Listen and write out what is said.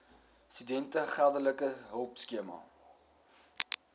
studente geldelike hulpskema